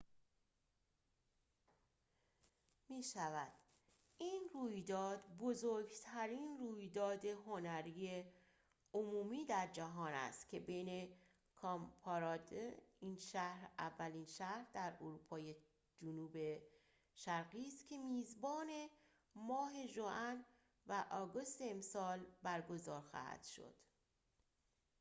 این شهر اولین شهر در اروپای جنوب شرقی است که میزبان cowparade می‌شود این رویداد بزرگترین رویداد هنری عمومی در جهان است که بین ماه ژوئن و آگوست امسال برگزار خواهد شد